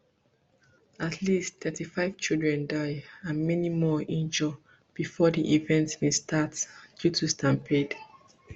at least thirty-five children die and many more injure before di event bin start due to stampede